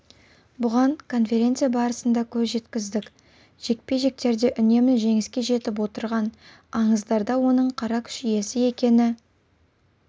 бұған конференция барысында көз жеткіздік жекпе-жектерде үнемі жеңіске жетіп отырған аңыздарда оның қара күш иесі екені